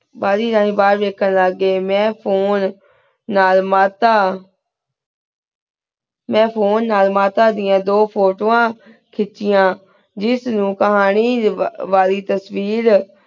ਬਢ਼ੀ ਠਾਨੀ ਬਹੇਰ ਵੇਖਣ ਲ੍ਘ੍ਯ ਟੀ ਮੈਂ phone ਨਾਲ ਮਾਤਾ ਮੈਂ phone ਨਾਲ ਮਾਤਾ ਦਯਾਨ ਦੋ ਫੋਤ੍ਵਾਂ ਖੇਚਿਆਯਨ ਜੇਸ ਨੂ ਕਹਾਨੀ ਕਹੀ ਵਾਲੀ ਤੇਸ੍ਵੀਰ